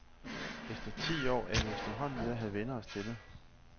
Efter ti år er vi efterhånden ved at have vænnet os til det.